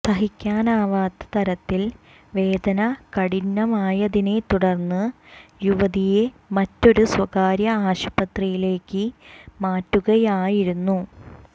സഹിക്കാനാവാത്ത തരത്തിൽ വേദന കഠിനമായതിനെ തുടര്ന്ന് യുവതിയെ മറ്റൊരു സ്വകാര്യ ആശുപത്രിയിലേക്ക് മാറ്റുകയായിരുന്നു